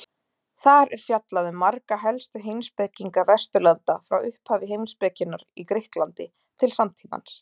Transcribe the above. Þar er fjallað um marga helstu heimspekinga Vesturlanda frá upphafi heimspekinnar í Grikklandi til samtímans.